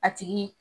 A tigi